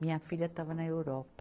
Minha filha estava na Europa.